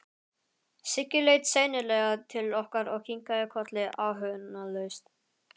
Siggi leit seinlega til okkar og kinkaði kolli áhugalaust.